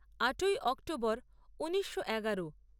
আটই অক্টোবর ঊনিশো এগারো